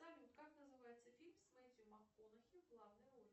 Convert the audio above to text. салют как называется фильм с мэтью макконахи в главной роли